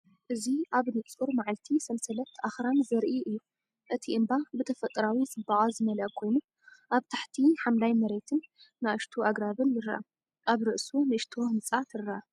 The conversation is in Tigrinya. እዚ ኣብ ንጹር መዓልቲ ሰንሰለት ኣኽራን ዘርኢ እዩ፤ እቲ እምባ ብተፈጥሮኣዊ ጽባቐ ዝመልአ ኮይኑ፡ ኣብ ታሕቲ ሓምላይ መሬትን ንኣሽቱ ኣግራብን ይርአ። ኣብ ርእሱ ንእሽቶ ህንጻ ትረአ።